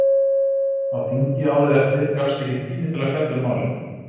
Á þingi árið eftir gafst ekki tími til að fjalla um málið.